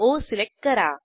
ओ select करा